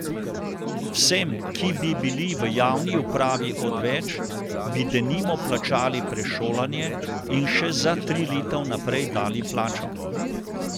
Vsem, ki bi bili v javni upravi odveč, bi denimo plačali prešolanje in še za tri leta vnaprej dali plačo.